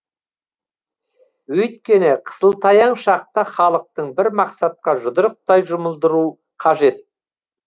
өйткені қысылтаяң шақта халықты бір мақсатқа жұдырықтай жұмылдыру қажет